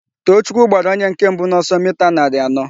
Toochukwu gbara onye nke mbụ n'ọsọ mita narị anọ.